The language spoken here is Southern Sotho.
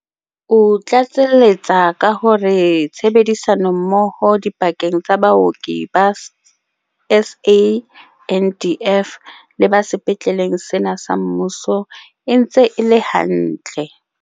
O tlatseletsa ka hore tshebedi sano mmoho dipakeng tsa baoki ba SANDF le ba sepetleng sena sa mmuso e ntse e le hantle.